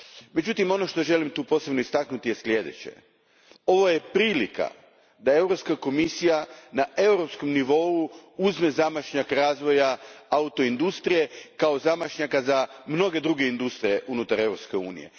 Međutim, ono što ovdje želim posebno istaknuti je sljedeće ovo je prilika da Europska komisija na europskom nivou uzme zamah razvoja auto industrije kao zamah za mnoge druge industrije unutar Europske unije.